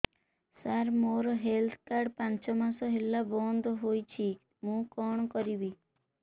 ସାର ମୋର health card ପାଞ୍ଚ ମାସ ହେଲା ବଂଦ ହୋଇଛି ମୁଁ କଣ କରିବି